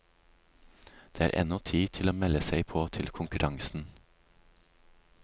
Det er ennå tid til å melde seg på til konkurransen.